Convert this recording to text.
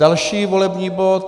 Další volební bod.